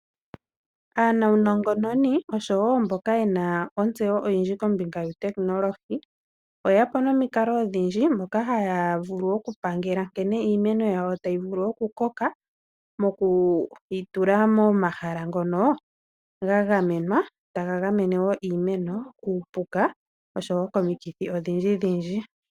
Aanongononi oshowo mboka yena otseyo oyindji kombinga yuutekinolohi oyeyapo nomikalo odhindji moka haya vulu oku pangela nkene iimeno yawo tayi vulu okukoka moku yitula momahala ngono ga gamenwa taga gamene iimeno kuupuka oshowo komikithi odhindji.